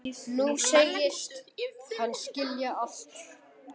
Nú segist hann skilja allt.